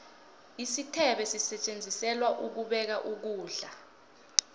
isithebe sisetjenziselwa ukubeka ukulda